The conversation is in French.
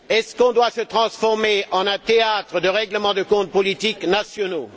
Devons nous nous transformer en un théâtre de règlement de comptes politiques nationaux?